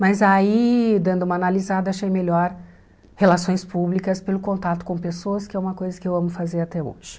Mas aí, dando uma analisada, achei melhor relações públicas pelo contato com pessoas, que é uma coisa que eu amo fazer até hoje.